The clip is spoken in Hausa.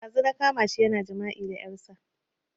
Ɗazu na kama shi yana jima'i da ƴarsa